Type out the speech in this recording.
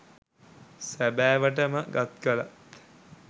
සැබෑවට ම ගත් කළ